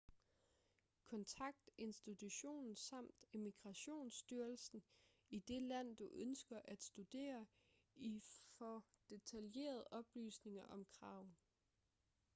kontakt institutionen samt immigrationsstyrelsen i det land du ønsker at studere i for detaljerede oplysninger om kravene